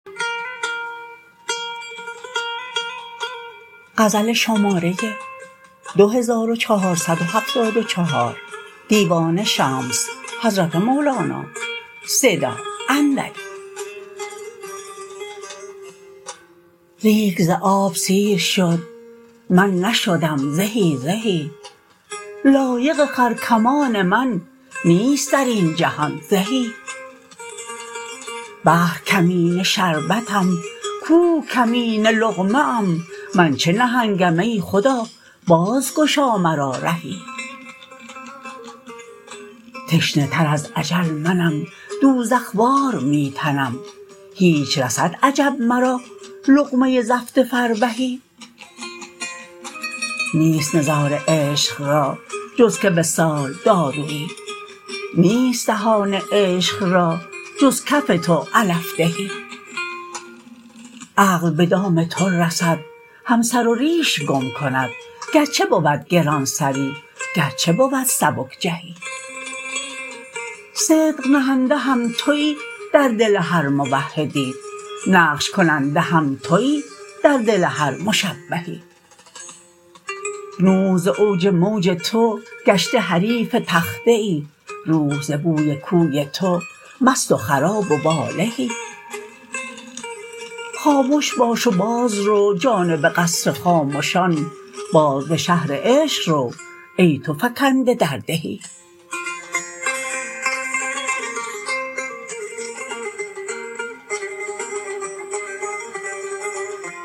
ریگ ز آب سیر شد من نشدم زهی زهی لایق خرکمان من نیست در این جهان زهی بحر کمینه شربتم کوه کمینه لقمه ام من چه نهنگم ای خدا بازگشا مرا رهی تشنه تر از اجل منم دوزخ وار می تنم هیچ رسد عجب مرا لقمه زفت فربهی نیست نزار عشق را جز که وصال داروی نیست دهان عشق را جز کف تو علف دهی عقل به دام تو رسد هم سر و ریش گم کند گرچه بود گران سری گرچه بود سبک جهی صدق نهنده هم توی در دل هر موحدی نقش کننده هم توی در دل هر مشبهی نوح ز اوج موج تو گشته حریف تخته ای روح ز بوی کوی تو مست و خراب و والهی خامش باش و بازرو جانب قصر خامشان باز به شهر عشق رو ای تو فکنده در دهی